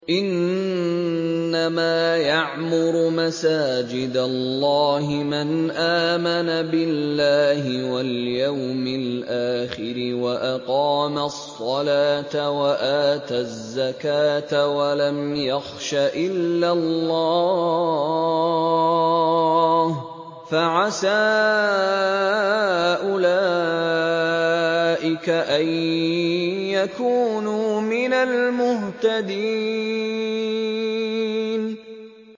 إِنَّمَا يَعْمُرُ مَسَاجِدَ اللَّهِ مَنْ آمَنَ بِاللَّهِ وَالْيَوْمِ الْآخِرِ وَأَقَامَ الصَّلَاةَ وَآتَى الزَّكَاةَ وَلَمْ يَخْشَ إِلَّا اللَّهَ ۖ فَعَسَىٰ أُولَٰئِكَ أَن يَكُونُوا مِنَ الْمُهْتَدِينَ